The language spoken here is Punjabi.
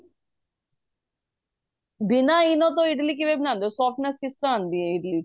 ਬਿੰਨਾ ENO ਤੋਂ ਇਡਲੀ ਕਿਵੇਂ ਬਣਾਂਦੇ ਓ softness ਕਿਸ ਤਰ੍ਹਾਂ ਆਂਦੀ ਏ ਇਡਲੀ ਚ